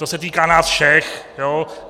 To se týká nás všech.